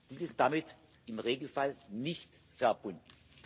Dies ist damit im Regelfall nicht verbunden.